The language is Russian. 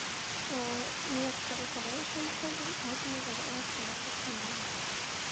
вместо расслабляющего массажа можно мне пожалуйста массаж камнями